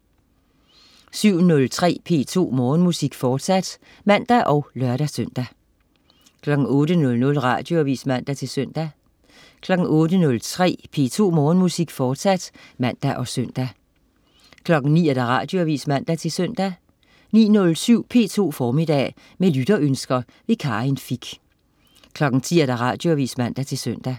07.03 P2 Morgenmusik, fortsat (man og lør-søn) 08.00 Radioavis (man-søn) 08.03 P2 Morgenmusik, fortsat (man og søn) 09.00 Radioavis (man-søn) 09.07 P2 Formiddag. Med lytterønsker. Karin Fich 10.00 Radioavis (man-søn)